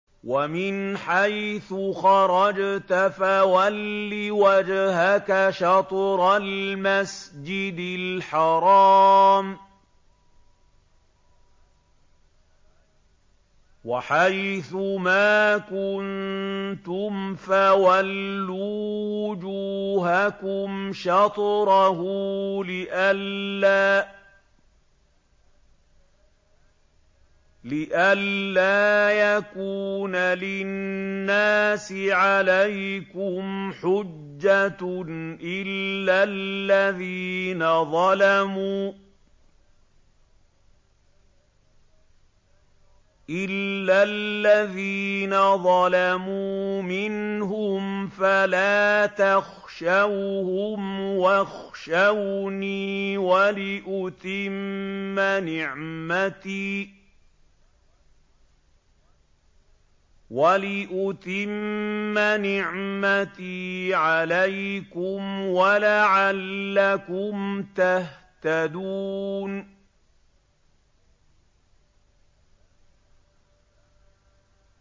وَمِنْ حَيْثُ خَرَجْتَ فَوَلِّ وَجْهَكَ شَطْرَ الْمَسْجِدِ الْحَرَامِ ۚ وَحَيْثُ مَا كُنتُمْ فَوَلُّوا وُجُوهَكُمْ شَطْرَهُ لِئَلَّا يَكُونَ لِلنَّاسِ عَلَيْكُمْ حُجَّةٌ إِلَّا الَّذِينَ ظَلَمُوا مِنْهُمْ فَلَا تَخْشَوْهُمْ وَاخْشَوْنِي وَلِأُتِمَّ نِعْمَتِي عَلَيْكُمْ وَلَعَلَّكُمْ تَهْتَدُونَ